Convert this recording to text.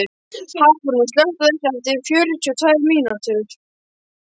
Hafrún, slökktu á þessu eftir fjörutíu og tvær mínútur.